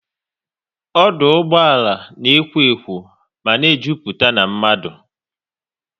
Ọdụ ụgbọala na ekwo ekwo mana e jupụta n'mmadu